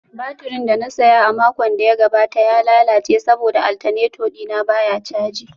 Baturin da na saya a makon da ya gabata ya lalace saboda alternator dina baya caji